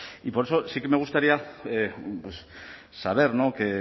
y por eso sí que me gustaría saber que